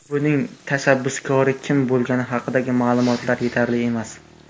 Buning tashabbuskori kim bo‘lgani haqidagi ma’lumotlar yetarli emas.